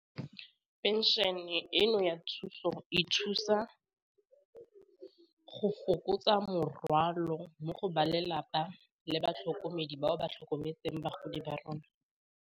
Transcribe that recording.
Pension-e eno ya thuso, e thusa go fokotsa morwalo mo go ba lelapa le batlhokomedi bao ba tlhokometseng bagodi ba rona.